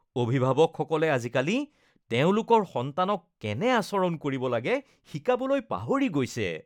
অভিভাৱকসকলে আজিকালি তেওঁলোকৰ সন্তানক কেনে আচৰণ কৰিব লাগে শিকাবলৈ পাহৰি গৈছে।